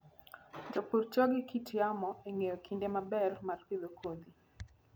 Jopur tiyo gi kit yamo e ng'eyo kinde maber mar pidho kodhi.